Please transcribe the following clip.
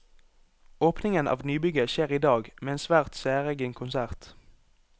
Åpningen av nybygget skjer i dag, med en svært særegen konsert.